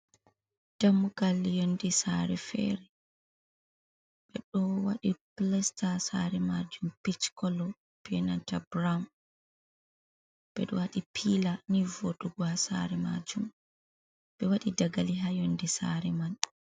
Dammugal yondi saare fere ɓe ɗo wadi plesta saare majum pitc kolo be nanta braun, ɓe ɗo wadi pila ni vodugo ha saare majum, ɓe wadi dagali ha yonde sare man.